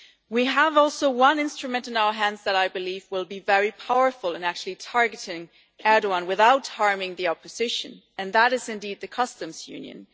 We have also one instrument in our hands that I believe will be very powerful in actually targeting Erdoğan without harming the opposition, and that is indeed the customs Union.